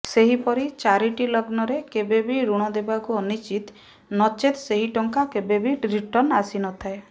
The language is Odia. ସେହିପରୀ ଚାରିଟି ଲଗ୍ନରେ କେବେବି ଋଣ ଦେବା ଅନୁଚିତ ନଚେତ ସେହି ଟଙ୍କା କେବେବି ରିଟର୍ଣ୍ଣ ଆସିନଥାଏ